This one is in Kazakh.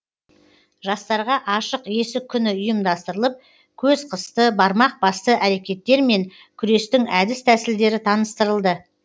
жастарға ашық есік күні ұйымдастырылып көз қысты бармақ басты әрекеттермен күрестің әдіс тәсілдері таныстырылды